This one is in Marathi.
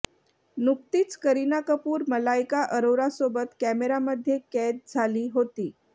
नुकतीच करीना कपूर मलायका अरोरासोबत कॅमेरामध्ये कैद झाली होती